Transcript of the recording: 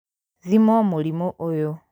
Thimwo mũrimũ ũyũ